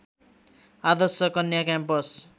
Adarsh Kanya campus